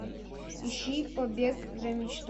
ищи побег за мечтой